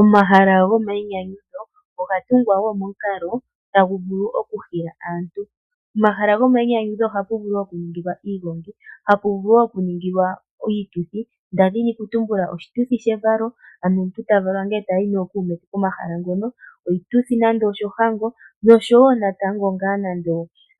Omahala go mayinyanyudho oga tungwa woo momukalo tagu vulu oku hila aantu. POmahala gomayinyanyudho ohapu vulu woo oku ningilwa iigongi. Ohapu vulu woo okuningilwa iituthi ngaashi oshituthi shevalo ano omuntu tavalwa ndele etayi nookuume ke pomahala ngono. Oshituthi nande oshohango noshowo natango ngaa nande